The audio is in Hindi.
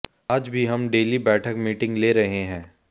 आज भी हम डेली बैठक मीटिंग ले रहे हैं